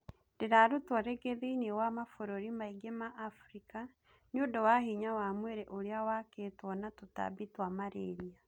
Ndirarutwo ringĩ thiinie wa mabũrũri maingĩ ma Afrika niundũ wa hinya wa mwiri ũria waakĩtuo na tutambi twa malaria